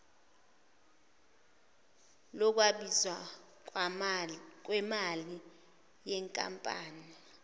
lokwabiwa kwemali yenkampani